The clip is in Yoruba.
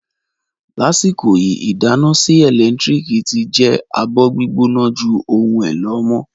Lasiko yi, idana sii elentiriki ti je abo-gbigbona ju ohun elo amọ